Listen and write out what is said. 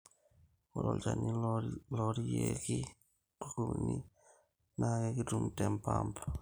ore olchani loorieki nkukunik na kekituni te mpamp